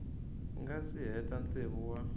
nga si hela tsevu wa